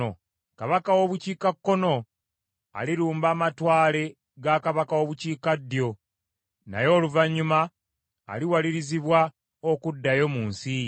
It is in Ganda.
Kabaka w’obukiikakkono alirumba amatwale ga kabaka w’obukiikaddyo naye oluvannyuma aliwalirizibwa okuddayo mu nsi ye.